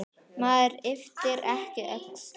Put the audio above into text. Maður ypptir ekki öxlum.